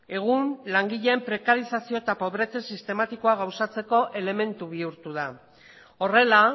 egun langileen prekarizazioa eta pobretze sistematikoa gauzatzeko elementu bihurtu da horrela